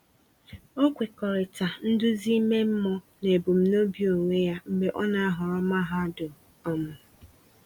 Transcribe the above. O kwekọrịta nduzi ime mmụọ na ebumnobi onwe ya mgbe o na-ahọrọ mahadum. um